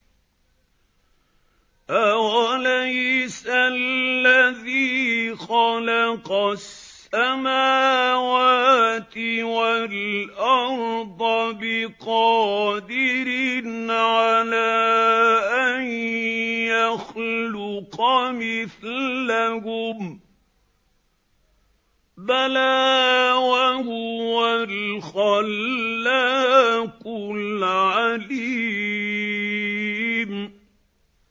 أَوَلَيْسَ الَّذِي خَلَقَ السَّمَاوَاتِ وَالْأَرْضَ بِقَادِرٍ عَلَىٰ أَن يَخْلُقَ مِثْلَهُم ۚ بَلَىٰ وَهُوَ الْخَلَّاقُ الْعَلِيمُ